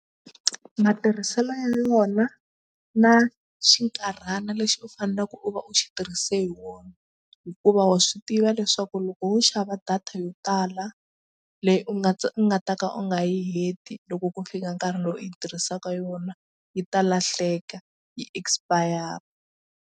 Matirhiselo ya yona na xinkarhana lexi u faneleke u va u xi tirhise hi wona hikuva wa swi tiva leswaku loko wo xava data yo tala leyi u nga u nga ta ka u nga yi heti loko ku fika nkarhi lowu yi tirhisaka yona yi ta lahleka yi expire.